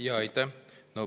Aitäh!